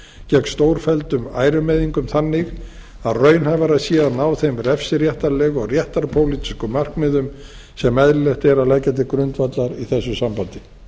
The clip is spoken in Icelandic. gegn stórfelldum ærumeiðingum þannig að raunhæfara sé að ná þeim refsiréttarlegu og réttarpólitísku markmiðum sem eðlilegt er að leggja til grundvallar í þessu sambandi